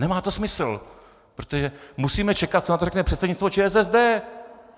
Nemá to smysl, protože musíme čekat, co na to řekne předsednictvo ČSSD.